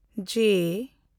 ᱡᱮᱹ